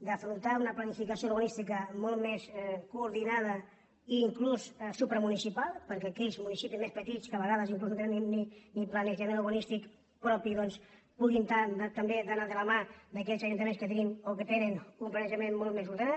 d’afrontar una planificació urbanística molt més coordinada i inclús supramunicipal perquè aquells municipis més petits que a vegades inclús no tenen ni planejament urbanís·tic propi doncs puguin també anar de la mà d’aquells ajuntaments que tenim o que tenen un planejament molt més ordenat